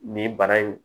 Nin bana in